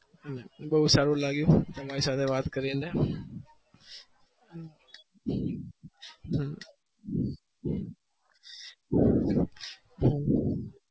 બૌ સારું લાગ્યું તમારી સાથે વાત કરીને